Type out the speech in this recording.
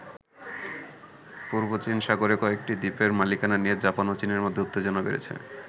পূর্ব চীন সাগরে কয়েকটি দ্বীপের মালিকানা নিয়ে জাপান ও চীনের মধ্যে উত্তেজনা বেড়েছে।